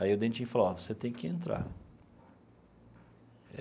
Aí o Dentinho falou, ó, você tem que entrar.